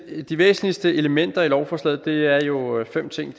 i det de væsentligste elementer i lovforslaget er jo fem ting